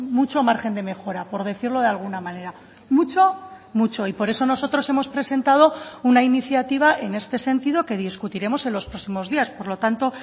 mucho margen de mejora por decirlo de alguna manera mucho mucho y por eso nosotros hemos presentado una iniciativa en este sentido que discutiremos en los próximos días por lo tanto